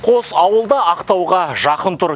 қос ауыл да ақтауға жақын тұр